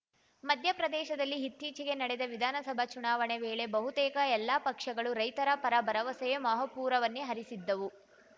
ಮಧ್ಯಪ್ರದೇಶದಲ್ಲಿ ಇತ್ತೀಚೆಗೆ ನಡೆದ ವಿಧಾನಸಭಾ ಚುನಾವಣೆ ವೇಳೆ ಬಹುತೇಕ ಎಲ್ಲಾ ಪಕ್ಷಗಳು ರೈತರ ಪರ ಭರವಸೆಯ ಮಹಾಪೂರವನ್ನೇ ಹರಿಸಿದ್ದವು